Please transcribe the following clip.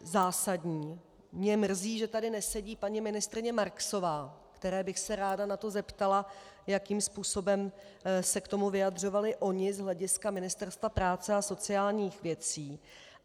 Mě mrzí, že tady nesedí paní ministryně Marksová, které bych se ráda na to zeptala, jakým způsobem se k tomu vyjadřovali oni z hlediska Ministerstva práce a sociálních věcí.